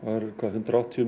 hundrað og áttatíu